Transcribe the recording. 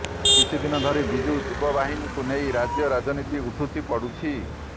କିଛିଦିନ ଧରି ବିଜୁ ଯୁବ ବାହିନୀକୁ ନେଇ ରାଜ୍ୟ ରାଜନୀତି ଉଠୁଛି ପଡ଼ୁଛି